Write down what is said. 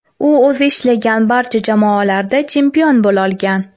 U o‘zi ishlagan barcha jamoalarda chempion bo‘lolgan.